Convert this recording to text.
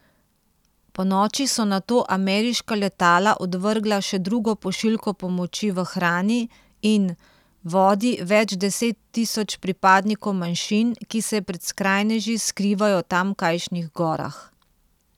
Ponoči so nato ameriška letala odvrgla še drugo pošiljko pomoči v hrani in vodi več deset tisoč pripadnikom manjšin, ki se pred skrajneži skrivajo v tamkajšnjih gorah.